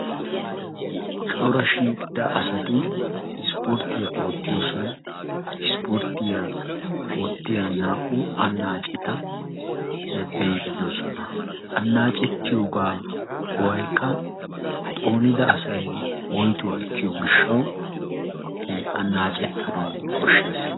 Cora shiiqida asati ispporttiya oottiyosan ispporttiya oottiya naa"u annaaceta be"iiddi de"oosona. Annaacettiyogaa go"aykka xoonida asayi woytuwa ekkiyo gishshawu annaacettanawu koshshes.